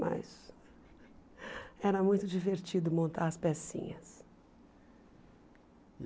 Mas era muito divertido montar as pecinhas.